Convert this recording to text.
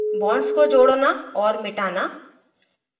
* bonds को जोड़ना और मिटाना